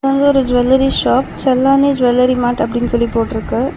இது ஒரு jewellery shop Challani jewellery mart அப்படினு சொல்லி போட்டுருக்கு.